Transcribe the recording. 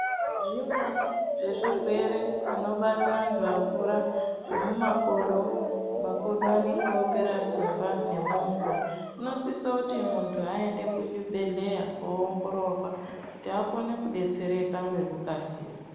Zvimweni zvezvirwere zvinobata antu akura, zvemumakodo, makodo anonge opera simba nemwongo, unosiso kuti munthu ayende kuchibhedhleya kowongororwa kuti akone kudetsereka ngekukasira.